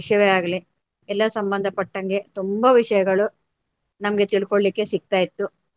ವಿಷಯವೇ ಆಗ್ಲಿ ಎಲ್ಲ ಸಂಬಂಧ ಪಟ್ಟಂಗೆ ತುಂಬಾ ವಿಷಯಗಳು ನಮ್ಗೆ ತಿಳ್ಕೋಳ್ಳಿಕೆ ಸಿಕ್ತ ಇತ್ತು.